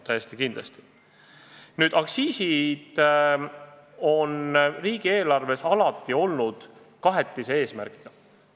Aktsiisid on riigieelarves alati olnud kahe eesmärgiga.